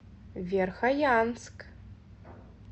верхоянск